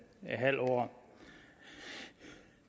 halv år